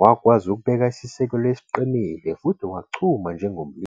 wakwazi ukubeka isisekelo esiqinile futhi wachuma njengomlimi.